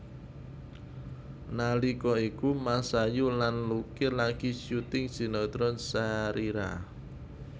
Nalika iku Masayu lan Lucky lagi syuting sinetron Sharira